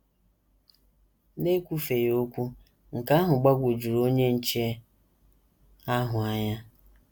N’ekwufeghị okwu, nke ahụ gbagwojuru onye nche ahụ anya.